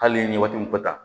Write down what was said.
Hali n'i ye waati mun fɔ tan